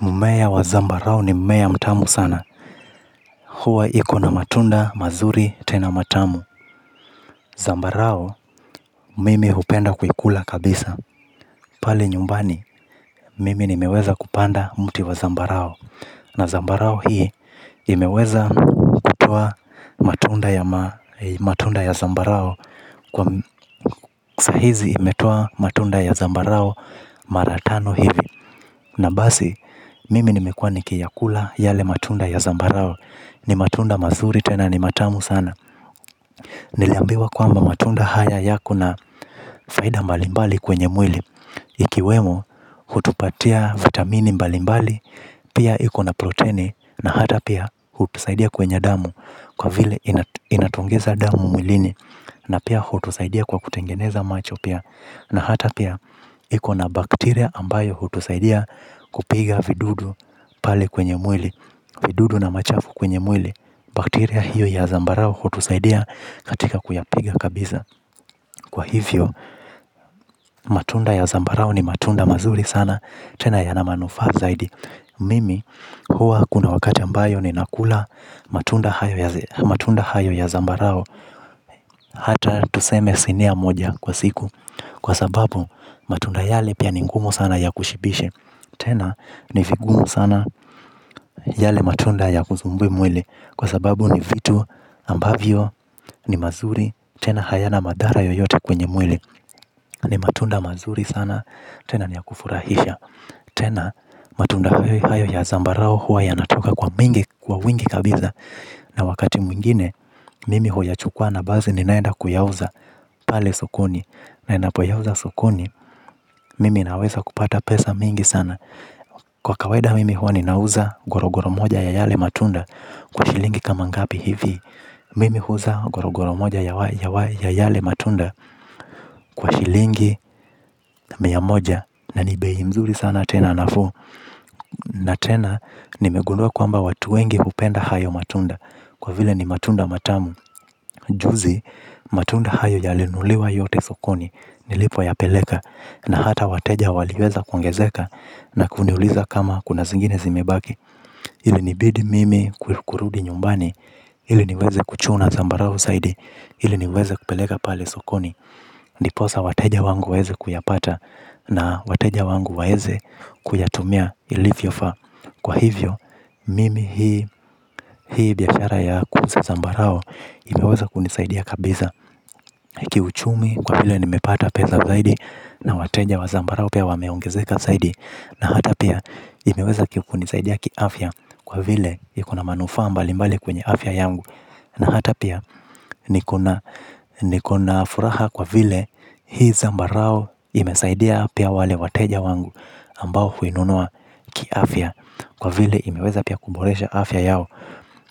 Mmea wa zambarau ni mmea mtamu sana. Huwa iko na matunda mazuri tena matamu. Zambarau, mimi hupenda kuikula kabisa. Pale nyumbani mimi nimeweza kupanda mti wa zambarau na zambarau hii imeweza kutoa matunda ya zambarau. Kwa sahizi, imetoa matunda ya zambarau maratano hivi. Na basi, mimi nimekuwa nikiyakula yale matunda ya Zambarau. Ni matunda mazuri tena ni matamu sana. Niliambiwa kwamba matunda haya yako na faida mbalimbali kwenye mwili. Ikiwemo hutupatia vitamini mbalimbali. Pia ikona proteni na hata pia hutusaidia kwenye damu. Kwa vile inatuongeza damu mwilini. Na pia hutusaidia kwa kutengeneza macho pia. Na hata pia ikona bakteria ambayo hutusaidia kupiga vidudu pale kwenye mwili. Vidudu na machafu kwenye mwili. Bakteria hio ya zambarau hutusaidia katika kuyapiga kabisa. Kwa hivyo, matunda ya zambarau ni matunda mazuri sana. Tena ya na manufaa zaidi. Mimi, huwa kuna wakati ambayo ninakula matunda hayo ya zambarau. Hata tuseme sinia moja kwa siku. Kwa sababu, matunda yale pia ni ngumu sana ya kushibishe. Tena, ni vigumu sana yale matunda ya kusumbue mwili. Kwa sababu ni vitu ambavyo ni mazuri tena hayana madhara yoyote kwenye mwili. Ni matunda mazuri sana tena nia kufurahisha. Tena matunda hayo ya zambarau huwa yanatoka kwa mingi kwa wingi kabisa. Na wakati mwingine mimi huwa yachukua na basi ninaenda kuyauza pale sokoni. Na ninapo yauza sokoni mimi naweza kupata pesa mingi sana. Kwa kawaida mimi huwa ninauza goro goro moja ya yale matunda kwa shilingi kama ngapi hivi. Mimi huuza gorogoro moja ya yale matunda kwa shilingi miamoja na ni bei mzuri sana tena nafuu na tena nimegundua kwamba watu wengi hupennda sana hayo matunda kwa vile ni matunda matamu. Juzi matunda hayo yalinunuliwa yote sokoni nilipo yapeleka na hata wateja waliweza kuongezeka na kuniuliza kama kuna zingine zimebaki ili nibidi mimi kurudi nyumbani ili niweze kuchuna zambarau zaidi ile niweze kupeleka pale sokoni. Ndiposa wateja wangu weweze kuyapata. Na wateja wangu waweze kuyatumia ilivyofaa. Kwa hivyo, mimi hii biashara ya kuuza zambarau imeweza kunisaidia kabisa kiuchumi kwa vile nimepata pesa zaidi na wateja wa zambarau pia wameongezeka zaidi na hata pia imeweza kunisaidia kiafya kwa vile iko na manufaa mbalimbali kwenye afya yangu. Na hata pia nikona furaha kwa vile hii zambarau imesaidia pia wale wateja wangu ambao huinunua kiafya. Kwa vile imeweza pia kuboresha afya yao.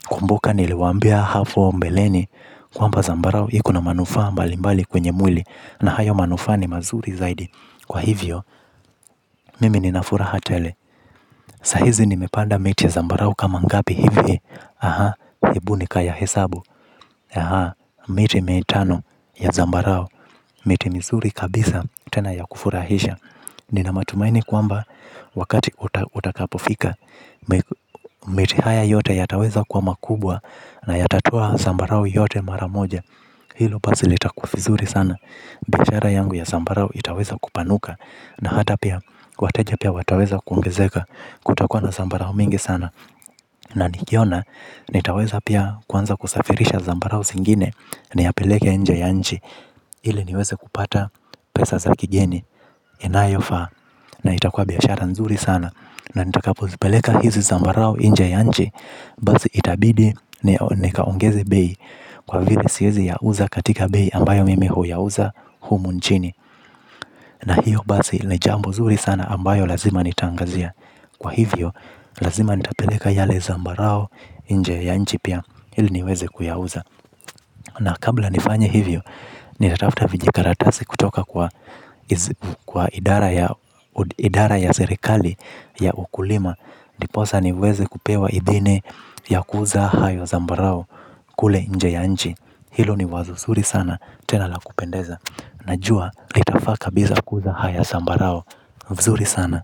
Kumbuka niliwaambia hapo mbeleni kwamba zambarau iko na manufaa mbali mbali kwenye mwli. Na hayo manufaa ni mazuri zaidi. Kwa hivyo mimi nina furaha tele. Sahizi nimepanda miti ya zambarau kama ngapi hivi. Aha, hebu nika yahesabu. Aha, miti mitano ya zambarau. Miti mizuri kabisa tena ya kufurahisha. Nina matumaini kwamba wakati utakapofika miti haya yote yataweza kuwa makubwa. Na yatatoa zambarau yote maramoja. Hilo basi litakuwa vizuri sana. Biashara yangu ya zambarao itaweza kupanuka. Na hata pia, wateja pia wataweza kuongezeka. Kutakuwa na zambarau mingi sana. Na nikiona, nitaweza pia kwanza kusafirisha zambarau zingine. Niyapeleke nje ya nchi ili niweze kupata pesa za kigeni. Inayofaa, na ita kuwa biashara nzuri sana. Na nitakapozipeleka hizi zambarau nje ya nchi. Basi itabidi, nikaongeze bei. Kwa vile siwezi yauza katika bei ambayo mimi huyauza humu nchini. Na hiyo basi, ni jambo zuri sana ambayo lazima nitaangazia. Kwa hivyo, lazima nitapeleka yale zambarau nje ya nchi pia, ili niweze kuyauza. Na kabla nifanye hivyo, nitatafuta vijikaratasi kutoka kwa kwa idara ya serekali ya ukulima. Ndiposa niweze kupewa idhini ya kuuza hayo zambarao kule nje ya nchi. Hilo ni wazo zuri sana, tena la kupendeza. Najua, litafaa ka bisa kuuza haya zambarau, vizuri sana.